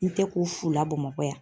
N tɛ ko fu la Bamakɔ yan